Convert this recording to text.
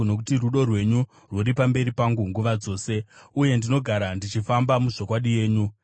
nokuti rudo rwenyu rwuri pamberi pangu nguva dzose, uye ndinogara ndichifamba muzvokwadi yenyu.